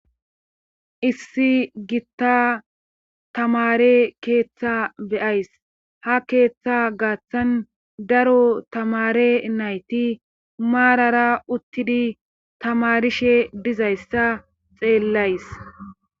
issi gitta tamare keeththa beyays ha keeththa gaaththan daro tamare nayti maarara uttidi tamarishe dizayssa xeellays